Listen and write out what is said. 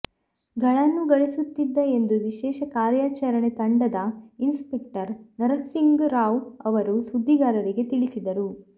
ಗಳನ್ನು ಗಳಿಸುತ್ತಿದ್ದ ಎಂದು ವಿಶೇಷ ಕಾರ್ಯಾಚರಣೆ ತಂಡದ ಇನ್ಸ್ಪೆಕ್ಟರ್ ನರಸಿಂಗ್ ರಾವ್ ಅವರು ಸುದ್ದಿಗಾರರಿಗೆ ತಿಳಿಸಿದರು